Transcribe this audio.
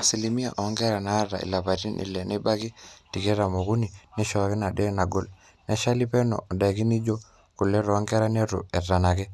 asilimia oonkera naata ilapaitin ile nebaiki tikitam ookuni naaaishooki nadaiki naagol, naashali peno ondaiki nijo kule toonkera neitu itanaki,